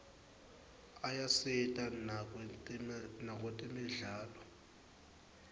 ayasita nakwetemidlalo